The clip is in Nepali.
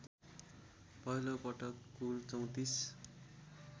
पहिलोपटक कुल ३४